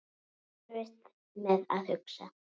Erfitt með að hugsa.